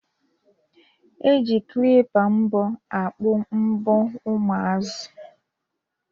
E ji klipa mbọ akpụ mbọ ụmụazi